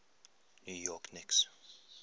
new york knicks